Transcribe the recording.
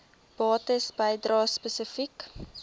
bates bedrae spesifiek